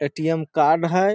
ATM. Card हेय।